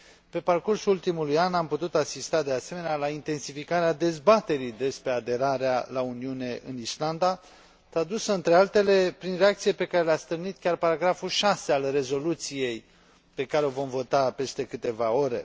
Pe parcursul ultimului an, am putut asista, de asemenea, la intensificarea dezbaterii despre aderarea la Uniune în Islanda, tradusă, printre altele, prin reacțiile pe care le a stârnit chiar punctul 6 al rezoluției pe care o vom vota peste câteva ore.